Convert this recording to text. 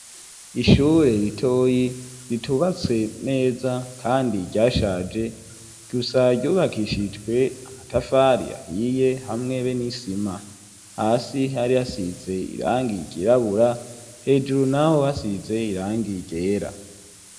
Ishure ritoyi ritubatse neza kandi ryashaje, gusa ryubakishijwe amatafari ahiye, hamwe n'isima, hasi hari hasize irangi ryirabura, hejuru naho hasize irangi ryera.